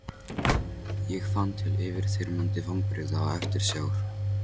Ég fann til yfirþyrmandi vonbrigða og eftirsjár.